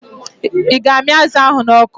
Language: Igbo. Ị ga-amị azụ ahụ n'ọkụ?